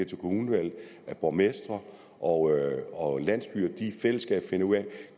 til kommunevalget at borgmestre og og landsbyer i fællesskab finder ud